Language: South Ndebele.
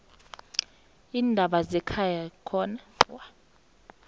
leendaba zekhaya khona